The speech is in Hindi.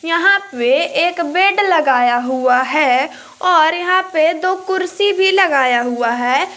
यहां पे एक बेड लगाया हुआ है और यहां पे दो कुर्सी भी लगाया हुआ है।